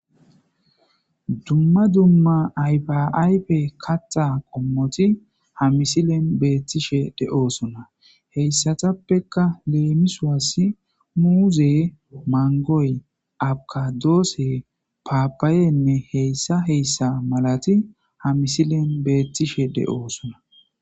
Dumma dumma ayfaayfe katta qommoti ha misilen beettishe de'oosuna heyssatappekka leemisoas muuze mangoy abkadoosse paapayenne heyssa heyssa malati ha misilen beettishe de'oosuna.